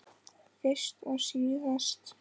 Fyrst og síðast.